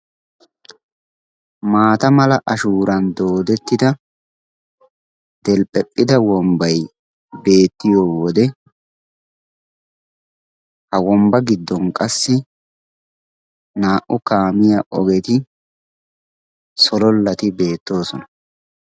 Maata mera ashshuuran doodettida delphephphida wombbay beettiyoode ha wombba giddon qassi naa"u kaamiyaa ogeti solollati beettoosona.